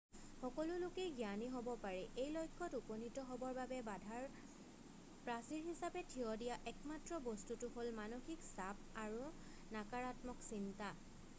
সকলো লোকেই জ্ঞানী হ'ব পাৰে এই লক্ষ্যত উপনীত হ'বৰ বাবে বাধাৰ প্ৰাচীৰ হিচাপে থিয় দিয়া একমাত্ৰ বস্তুটো হ'ল মানসিক চাপ আৰু নাকাৰাত্মক চিন্তা